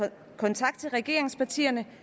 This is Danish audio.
kontakt til regeringspartierne